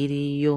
iriyo.